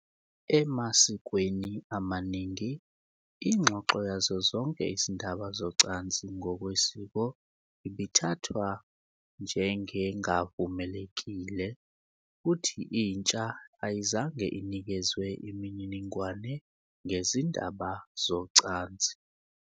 Emasikweni amaningi, ingxoxo yazo zonke izindaba zocansi ngokwesiko ibithathwa njengengavumelekile, futhi intsha ayizange inikezwe imininingwane ngezindaba zocansi.